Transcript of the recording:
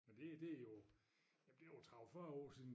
Men det det jo jamen det jo 30 40 år siden